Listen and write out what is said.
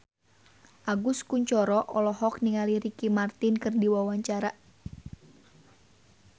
Agus Kuncoro olohok ningali Ricky Martin keur diwawancara